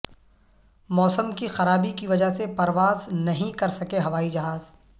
موسم کی خرابی کی وجہ سے پرواز نہیںکر سکے ہوائی جہاز